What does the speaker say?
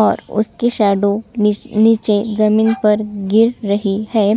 और उसकी शैडो नीच नीचे जमीन पर गिर रही हैं।